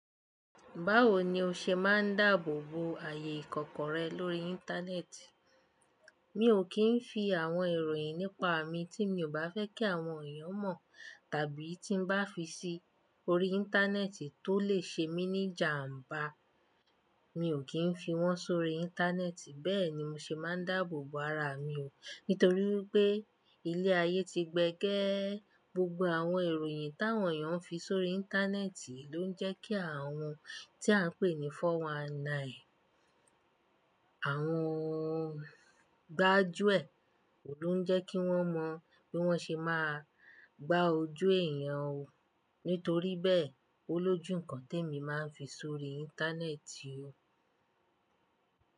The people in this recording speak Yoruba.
Báwo ni o ṣe máa ń dáàbò bo ààyè ìkọ̀kọ̀ rẹ lórí Íńtánẹ́ẹ̀tì? Mi ò kì í fi àwọn ìròyìn nípa mi tí mi ò bá fẹ́ kí àwọn èèyàn mọ̀, tàbí tí n bá fi sí orí Íńtánẹ́ẹ̀tì tó lè ṣe mí ní jàǹbá, mi ò kì í fi wọ́n sórí Íńtánẹ́ẹ̀tì. Bẹ́ẹ̀ ni mo ṣe máa ń dáàbò bo ara mi o, nítorí pé ilé ayé ti gbẹ gẹ́. Gbogbo àwọn ìròyìn táwọn èèyàn ń fi sórí Íńtánẹ́ẹ̀tì ló ń jẹ́ kí àwọn tí à ń pè ní 419, àwọn gbájúẹ̀, ló n jẹ́ kí wọ́n mọ bí wọ́n ṣe máa gbá ojú èèyàn o. Nítorí bẹ́ẹ̀, ó lójúù nkán tí èmi máa ń fi sórí Íńtánẹ́ẹ̀tì o.